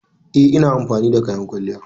Eh, ina amfani da kayan kwalliya.